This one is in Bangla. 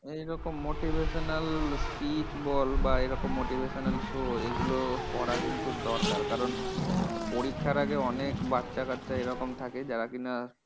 এইরকম motivational speech বল বা এইরকম motivational show এইগুলো করা কিন্তু দরকার। কারণ পরীক্ষার আগে অনেক বাচ্চাকাচ্চা এইরকম থাকে যারা কি না